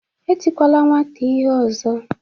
Etikwala nwata ihe ọzọ.